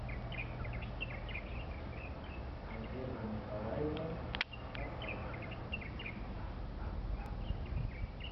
надежда николаевна касаткина